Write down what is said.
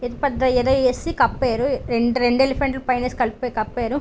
ఇది పెద్ద ఏదో ఏసీ కప్పారు రెండు ఎలిఫెంట్ లు పైన ఏసి కప్పారు.